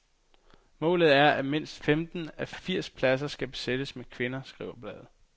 Målet er, at mindst femten af de firs pladser skal besættes med kvinder, skriver bladet.